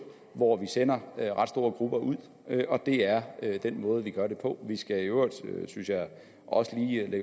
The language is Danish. hvor vi sender ret store grupper ud og det er den måde vi gør det på det skal i øvrigt også lige